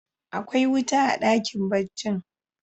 Akwai wuta a dakin barcin?